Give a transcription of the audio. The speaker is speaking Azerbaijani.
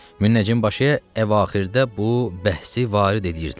Müəccim başı əvaxirdə bu bəhsi varid eləyirdilər.